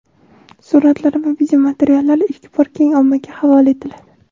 suratlar va videomateriallar ilk bor keng ommaga havola etiladi.